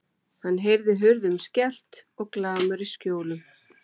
Hann heyrði hurðum skellt og glamur í skjólum.